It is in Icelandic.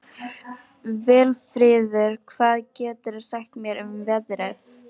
Vilfríður, hvað geturðu sagt mér um veðrið?